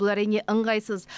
бұл әрине ыңғайсыз